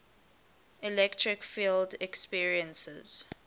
electric field experiences